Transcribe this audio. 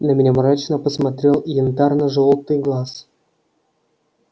на меня мрачно посмотрел янтарно-жёлтый глаз